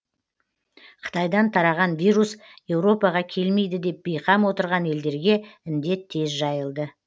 қытайдан тараған вирус еуропаға келмейді деп бейқам отырған елдерге індет тез жайылды